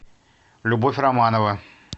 любовь романова